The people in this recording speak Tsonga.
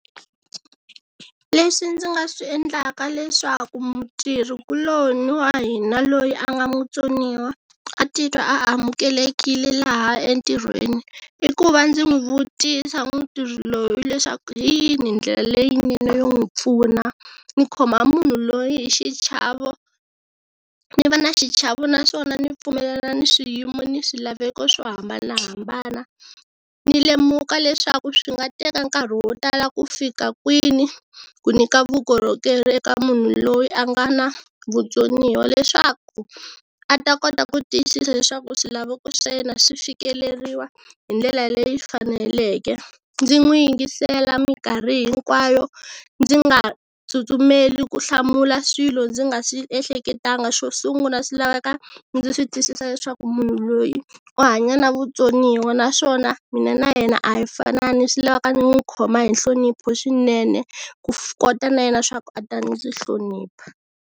Leswi ndzi nga swi endlaka leswaku mutirhi kuloni wa hina loyi a nga mutsoniwa a titwa a amukelekile laha entirhweni i ku va ndzi n'wi vutisa mutirhi loyi leswaku hi yini hi ndlela leyinene yo n'wi pfuna, ndzi khoma munhu loyi hi xichava ni va ni xichava naswona ni pfumelela ni swiyimo ni swilaveko swo hambanahambana, ni lemuka leswaku swi nga teka nkarhi wo tala ku fika kwini ku nyika vukorhokeri eka munhu loyi a nga na vutsoniwa leswaku a ta kota ku tiyisisa leswaku swilaveko swa yena swi fikeleriwa hi ndlela leyi faneleke. Ndzi n'wi yingisela minkarhi hinkwayo, ndzi nga tsutsumeli ku hlamula swilo ndzi nga swi ehleketanga, xo sungula swi laveka ndzi sw itwisisa leswaku munhu loyi u hanya na vutsoniwa naswona mina na yena a hi fanani swi lavaka ndzi n'wi khoma hi nhlonipho swinene ku kota na yena swa ku a ta ndzi hlonipha.